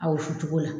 A wusu cogo la